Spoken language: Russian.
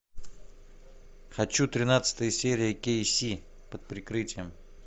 хочу тринадцатая серия кей си под прикрытием